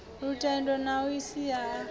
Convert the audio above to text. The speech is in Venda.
lutendo na a si a